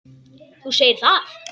Þú segir það!